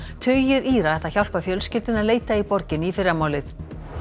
tugir Íra ætla að hjálpa fjölskyldunni að leita í borginni í fyrramálið